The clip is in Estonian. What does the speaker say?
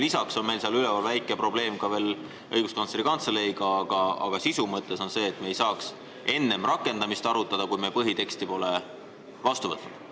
Lisaks on väike probleem ka Õiguskantsleri Kantseleiga, aga sisu mõttes on oluline see, et me ei saaks rakendamisseadust arutada enne, kui me põhiteksti pole vastu võtnud.